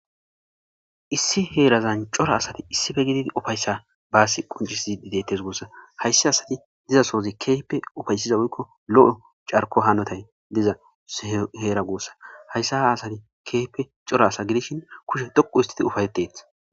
Issi heerazan cora asathi issipe gididi ufayssa baassi qonccissiiddi deeththes guussa; hayssathi asathi diza sothi keehipe ufaysiza woykko lo7o carkkuwa hanothay diza heera guussa; haysa asathi keehippe cora asa gidishin kushe xoqqu ooththide ufayththeeththes.